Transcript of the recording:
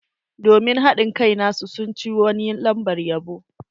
Domin hadin kai nasu, sun ci wani lambar yabo.